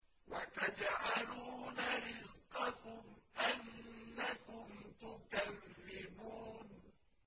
وَتَجْعَلُونَ رِزْقَكُمْ أَنَّكُمْ تُكَذِّبُونَ